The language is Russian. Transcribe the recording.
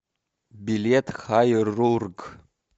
билет хайрург